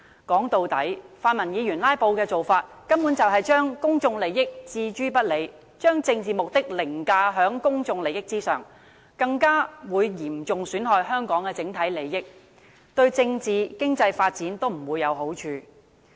說到底，泛民議員"拉布"的做法，根本是將公眾利益置諸不理，將政治目的凌駕於公眾利益之上，更會嚴重損害香港的整體利益，對政治和經濟發展也不會有好處。